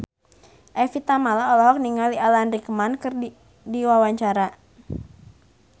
Evie Tamala olohok ningali Alan Rickman keur diwawancara